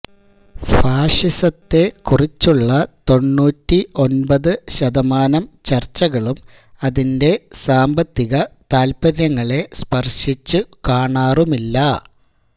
ഫാഷിസത്തെ കുറിച്ചുള്ള തൊണ്ണൂറ്റി ഒന്പത് ശതമാനം ചര്ച്ചകളും അതിന്റെ സാമ്പത്തിക താത്പര്യങ്ങളെ സ്പര്ശിച്ചു കാണാറുമില്ല